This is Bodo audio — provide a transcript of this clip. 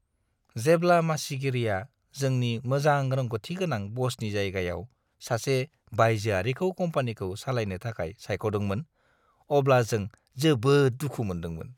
जेब्ला मासिगिरिआ जोंनि मोजां रोंग'थि गोनां बसनि जायगायाव सासे बायजोआरिखौ कम्पानिखौ सालायनो थाखाय सायख'दोंमोन, अब्ला जों जोबोद दुखु मोनदोंमोन।